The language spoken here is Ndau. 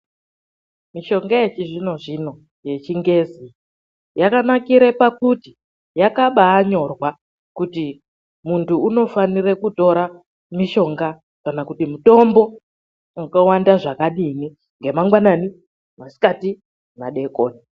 MISHONGA YECHIZVINO-ZVINO YECHINGEZI YAKANAKIRE PAKUTI YAKABAAYANYORWA KUTI MUNTU UNOFANIRE KUTORA MISHONGA KANA KUTI MITOMBO WAKAWANDA ZVAKADINI NGEMANGWANANI ,MASIKATI NEMADEKONI.